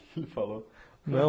O que ele falou? Não